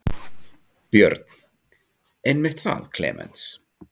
Björn: Einmitt það Klemenz.